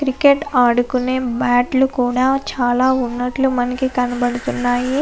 Cricket ఆడుకునే బ్యాట్లు కూడా చాలా ఉన్నట్టుగా మనకి కనపడుతున్నాయి.